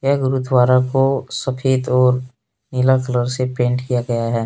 ये गुरुद्वारा को सफेद और नीला कलर से पेंट किया गया है।